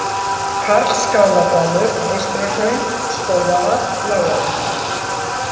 Karlsskáladalur, Eystrahraun, Skógavað, Láganes